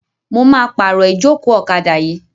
Mo máa pàrọ̀ ìjókòó ọ̀kadà yìí.